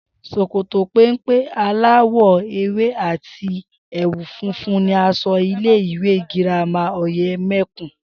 S̩òkòtò péḿpé aláwò̩ ewé àti è̩wù funfun ni as̩o̩ ilé ìwé girama Òyème̩kùn